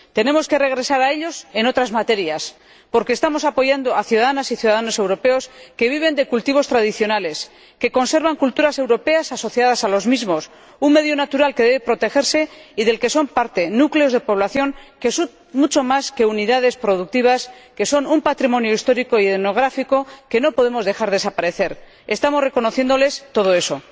Tenemos que regresar a ellos en otras materias, porque estamos apoyando a ciudadanas y ciudadanos europeos que viven de cultivos tradicionales y conservan culturas europeas asociadas a los mismos, un medio natural que debe protegerse y del que son parte núcleos de población que son mucho más que unidades productivas, que son un patrimonio histórico y etnográfico que no podemos dejar desaparecer. Estamos reconociéndoles todo eso.